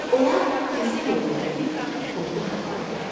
Onlar kəsə yolla gedib qurudu haxladılar.